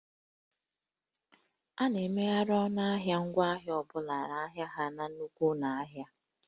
A na-amanyere ọnụ ahịa ngwaahịa ọ bụla n'ahụ ha na nnukwu ụlọ ahịa